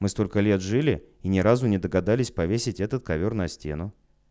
мы столько лет жили и ни разу не догадались повесить этот ковёр на стену